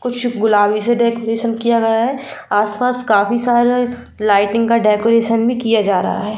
कुछ गुलाबी से डेकोरेशन किया गया है आस-पास काफी सारे लाइटिंग का डेकोरेशन भी किया जा रहा है।